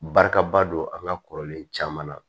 Barika ba don an ka kɔrɔlen caman na